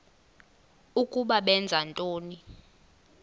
ukuba benza ntoni